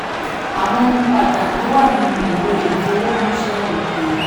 22. àwọn ohun pàtàkì wà nínú ìwé ìfowóránṣẹ́ òkèèrè.